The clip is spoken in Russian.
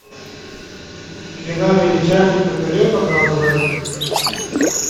кино величайший кутюрье показывай